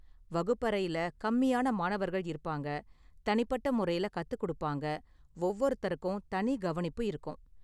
வகுப்பறையில கம்மியான மாணவர்கள் இருப்பாங்க, தனிப்பட்ட முறையில கத்துக்கொடுப்பாங்க, ஒவ்வொருத்தருக்கும் தனி கவனிப்பு இருக்கும்.